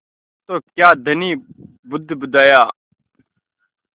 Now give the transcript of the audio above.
तो क्या धनी बुदबुदाया